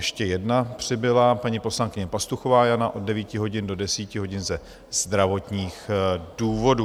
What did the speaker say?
Ještě jedna přibyla: paní poslankyně Pastuchová Jana - od 9 hodin do 10 hodin ze zdravotních důvodů.